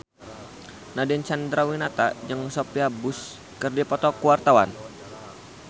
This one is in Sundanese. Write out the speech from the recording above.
Nadine Chandrawinata jeung Sophia Bush keur dipoto ku wartawan